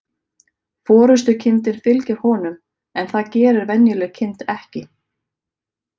Forystukindin fylgir honum, en það gerir venjuleg kind ekki.